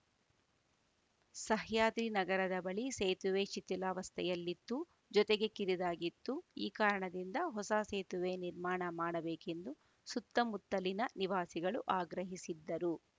ಸಹ್ಯಾದ್ರಿ ನಗರದ ಬಳಿ ಸೇತುವೆ ಶಿಥಿಲಾವಸ್ಥೆಯಲ್ಲಿತ್ತು ಜೊತೆಗೆ ಕಿರಿದಾಗಿತ್ತು ಈ ಕಾರಣದಿಂದ ಹೊಸ ಸೇತುವೆ ನಿರ್ಮಾಣ ಮಾಡಬೇಕೆಂದು ಸುತ್ತಮುತ್ತಲಿನ ನಿವಾಸಿಗಳು ಆಗ್ರಹಿಸಿದ್ದರು